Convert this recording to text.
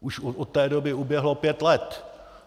Už od té doby uběhlo pět let!